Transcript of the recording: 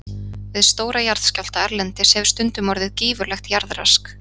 Við stóra jarðskjálfta erlendis hefur stundum orðið gífurlegt jarðrask.